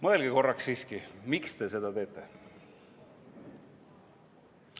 Mõelge korraks siiski, miks te seda teete.